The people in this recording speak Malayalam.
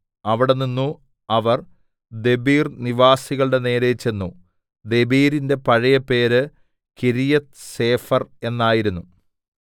അവിടെനിന്നു അവർ ദെബീർ നിവാസികളുടെ നേരെ ചെന്നു ദെബീരിന്റെ പഴയ പേര് കിര്യത്ത്സേഫെർ എന്നായിരുന്നു